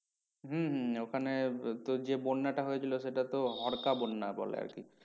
হম হম ওখানে তো যে বন্যাটা হয়েছিল সেটা তো হড়কা বন্যা বলে আর কি।